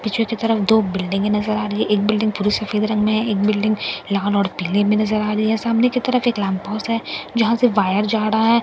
पीछे की तरफ दो बिल्डिंगे नजर आ रही है एक बिल्डिंग पूरे सफेद रंग में है एक बिल्डिंग लाल और पीले में नजर आ रही है सामने की तरफ एक लैंप पोस्ट है जहां से वायर जा रहा है और--